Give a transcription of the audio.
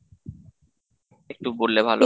একটু বললে ভালো,